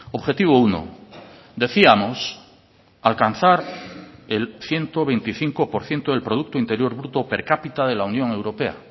objetivo uno decíamos alcanzar el ciento veinticinco por ciento del producto interior bruto per cápita de la unión europea